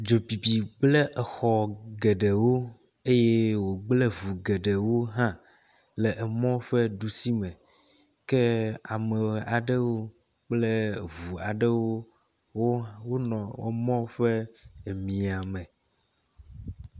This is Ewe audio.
Dzobibi kple exɔ geɖewo eye wogblẽ ŋu geɖewo hã le emɔ ƒe ɖusi me ke ame aɖewo kple ŋu aɖewo wonɔ emɔ ƒe emia me